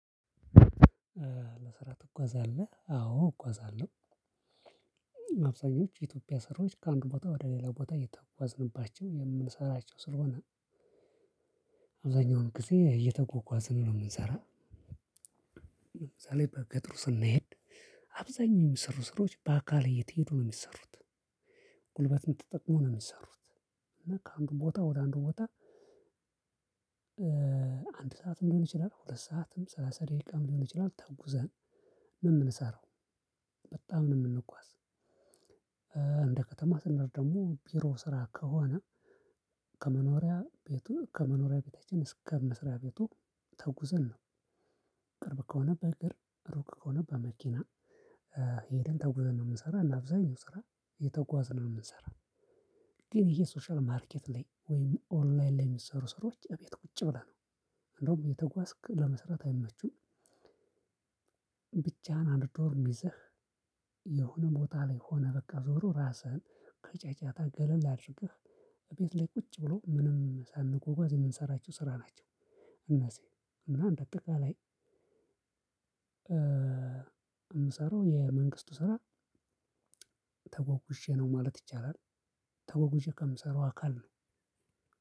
ለስራ ትጓዛለህ አዎ እጓዛለሁ። አብዛኞች የኢትዮጵያ ስራዎች ከአንድ ቦታ ወደ ሌላ ቦታ እየተጓዝንባቸው የምንሰራቸው ስለሆነ አብዛኛውን ጊዜ እየተጓጓዝን ነው የምንሰራው። ለምሳሌ በገጠሩ ስንሄድ። አብዛኛው የሚሰሩ ስራዎች በአካል እየተሄዱ ነው የሚሰሩት። ጉልበትን ተጠቅሞ ነው የሚሰሩት እና ከአንዱ ቦታ ወደ አንዱ ቦታ። አንድ ሰዓትም ሊሆን ይችላል ሁለት ሰዓትም ሰላሳ ደቂቃም ሊሆን ይችላል ተጉዘን የምንሰራው በጣም ነው የምንጓዝ። እንደ ከተማ ስንሄድ ደግሞ ቢሮ ስራ ከሆነ። ከመኖሪያ ቤቱ ከመኖሪያ ቤታችን እስከ መስሪያ ቤቱ ተጉዘን ነው። ቅርብ ከሆነ በእግር ሩቅ ከሆነ በመኪና። ሄደን ተጉዘን ነው የምንሰራ እና አብዛኛው ስራ እየተጓዝን ነው የምንሰራው። ግነ ይሄ ሶሻል ማርኬት ላይ ወይም ኦንላይን ላይ የሚሰሩ ስራዎች እቤት ቁጭ ብለህ ነው እንደውም እየተጓዝክ ለመስራት አይመቹም። ብቻህን አንድ ዶርም ይዘህ የሆነ ቦታ ላይ ሆነ በቃ ዞሮ ራስህን ከጫጫታ ገለል አድርገህ እቤት ላይ ቁጭ ብሎ ምንም ሳንጎጓዝ የምንሰራችው ስራ ናቸው። እና እንደ አጠቃላይ ምሰራው የመንግስቱ ስራ ተጓጓዤ ነው ማለት ይቻላል። ተጓጓዤ ከምሰራው አካል ነው።